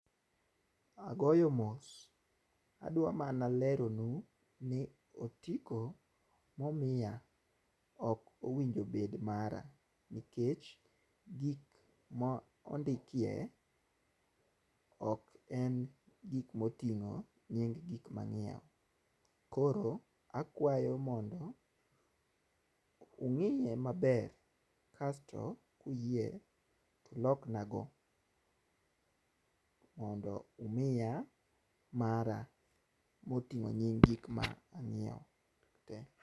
Agoyo mos adwa mana lero nu ni otiko momiya ok owinjo bed mara nikech gik mondikie ok en gik moting'o nying gik mang'iewo .Koro akwayo mondo ung'iye maber kasto kuyie tulokna go mondo umiya mara moting'o nying gik manyiewo tee.